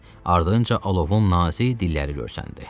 Ardınca alovun nazik dilləri görsəndi.